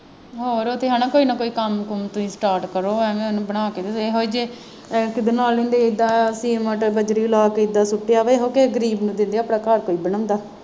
ਆਹੋ ਉਹ ਤਾਂ ਹੈ ਨਾ ਕੇਈ ਨਾ ਕੋਈ ਕੰਮ ਕੁੰਮ ਤੁਸੀਂ start ਕਰੋ ਐਂਵੇਂ ਇਹਨੂੰ ਬਣਾ ਕੇ ਤੇ ਇਹੋ ਜਿਹੇ ਜੇ ਕਿਤੇ ਨਾਲ ਇਦਾਂ ਸੀਮੇਂਟ ਬਜਰੀ ਲਾ ਕੇ ਇਦਾਂ ਸੁੱਟਿਆ ਵਾ ਇਹੋ ਕਿਸੇ ਗਰੀਬ ਨੂੰ ਦਿੰਦੇ ਆਪਣਾ ਘਰ ਕੋਈ ਬਣਾਉਂਦਾ।